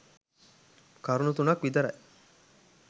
කරුණු තුනක් විතරයි.